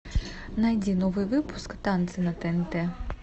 найди новый выпуск танцы на тнт